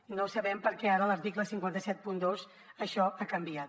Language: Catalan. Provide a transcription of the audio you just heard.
i no sabem per què ara a l’article cinc cents i setanta dos això ha canviat